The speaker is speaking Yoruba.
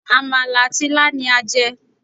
Àmàlà àti ilá ni a jẹ́